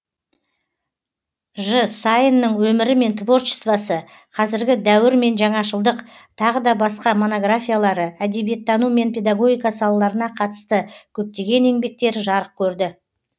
ж саиннің өмірі мен творчествосы қазіргі дәуір мен жаңашылдық тағы да басқа монографиялары әдебиеттану мен педагогика салаларына қатысты көптеген еңбектері жарық көрді